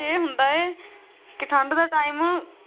ਇਹ ਹੁੰਦਾ ਹੈ ਕੇ ਠੰਢ ਦੇ time